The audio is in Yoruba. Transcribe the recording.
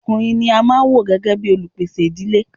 Ọkùnrin ní a máà wò gbẹ́gẹ́ bìí olupèsè ìdílé.